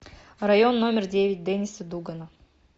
район номер девять денниса дугана